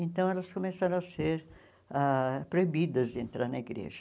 Então, elas começaram a ser ah proibidas de entrar na igreja.